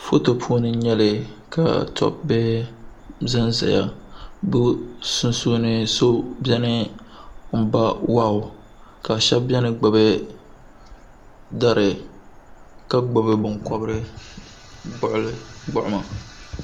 foto puuni n-nyɛli ka tɔb' bihi za n-zaya bɛ sunsuuni so beni m-ba wahu ka shɛba beni n-gbubi dari ka gbubi